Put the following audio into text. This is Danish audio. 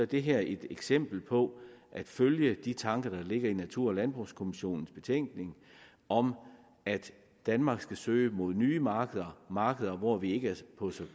det her et eksempel på at følge de tanker der ligger i natur og landbrugskommissionens betænkning om at danmark skal søge mod nye markeder markeder hvor vi ikke er på et så